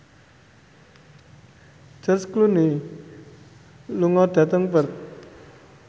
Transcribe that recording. George Clooney lunga dhateng Perth